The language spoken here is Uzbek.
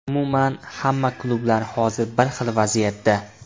Umuman, hamma klublar hozir bir xil vaziyatda”.